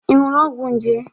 Ị ñụrụ ọgwọ nje?